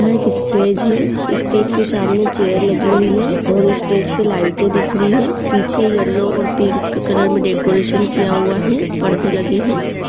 यह एक स्टेज है स्टेज के सामने चेयर लगी हुई है और स्टेज पर लाइटें दिख रही है| पीछे येल्लो और पिंक कलर में डेकरैशन किया हुआ है परदे लगे हैं।